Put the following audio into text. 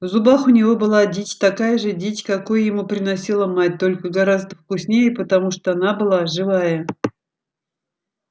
в зубах у него была дичь такая же дичь какую ему приносила мать только гораздо вкуснее потому что она была живая